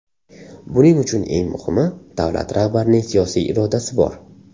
Buning uchun eng muhimi, davlat rahbarining siyosiy irodasi bor.